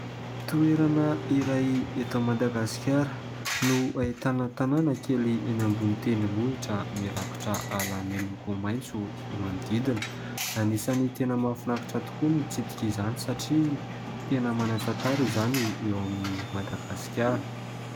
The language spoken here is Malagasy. Toerana iray eto Madagasikara no ahitana tanàna kely eny ambony tendrombohitra mirakotra ala miloko maitso ny manodidina. Anisany tena mahafinaritra tokoa ny mitsidika izany satria tena manan-tantara izany eo amin'i Madagasikara.